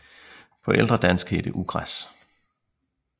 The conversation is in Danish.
På ældre dansk hed det ugræs